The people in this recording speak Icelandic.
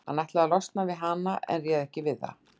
Hann ætlaði að losna við hana en réð ekki við það.